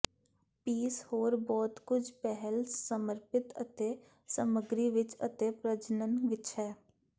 piece ਹੋਰ ਬਹੁਤ ਕੁਝ ਪਹਿਲ ਸਪਰਪਿਤ ਅਤੇ ਸਮੱਗਰੀ ਵਿਚ ਅਤੇ ਪ੍ਰਜਨਨ ਵਿੱਚ ਹੈ